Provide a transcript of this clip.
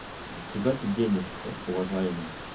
куда ты денешься уважаемый